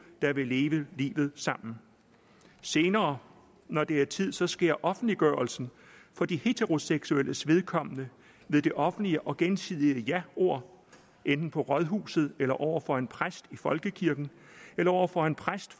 der vil leve livet sammen senere når det er tid tid sker offentliggørelsen for de heteroseksuelles vedkommende ved det offentlige og gensidige jaord enten på rådhuset eller over for en præst i folkekirken eller over for en præst